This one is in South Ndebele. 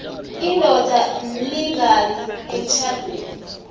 indoda imlingani emtjhadweni